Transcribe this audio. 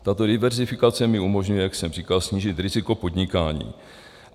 Tato diverzifikace mi umožňuje, jak jsem říkal, snížit riziko podnikání.